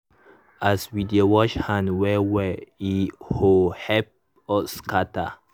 mm as we dey wash hand well well e ho help us scatter.